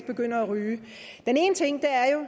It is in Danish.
begynder at ryge den ene ting er